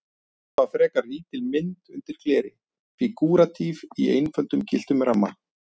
Þetta var frekar lítil mynd undir gleri, fígúratíf í einföldum gylltum ramma.